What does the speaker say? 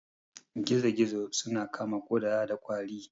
Gizo-gizo suna kama kuda da kwari.